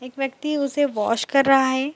एक व्यक्ति उसे वॉश कर रहा है।